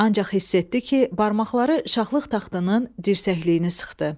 Ancaq hiss etdi ki, barmaqları şahlıq taxtının dirsəkliyini sıxdı.